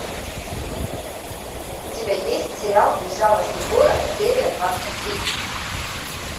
у тебя есть сериал безжалостный город серия двадцать три